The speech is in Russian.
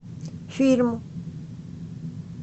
фильм